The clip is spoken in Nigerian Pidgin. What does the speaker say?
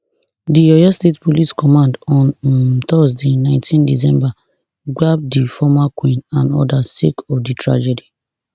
di oyo state police command on um thursday nineteen december gbab di former queen and odas sake of di tragedy